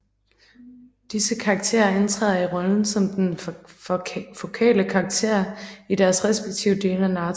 Disse karakterer indtræder i rollen som den fokale karakter i deres respektive dele af narrativet